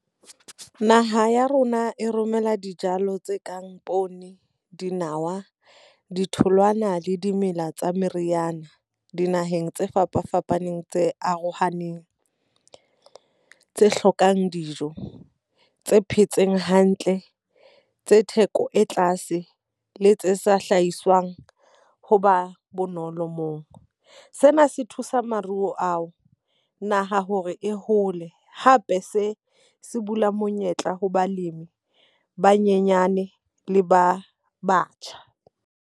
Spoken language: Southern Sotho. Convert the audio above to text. Naha ya rona e romela dijalo tse kang poone, dinawa, ditholwana le dimela tsa meriyana dinaheng tse fapafapaneng tse arohaneng. Tse hlokang dijo, tse phetseng hantle, tse theko e tlase, le tse sa hlahiswang ho ba bonolo moo. Sena se thusa maruo ao naha hore e hole, hape se se bula monyetla ho balemi ba nyenyane le ba batjha.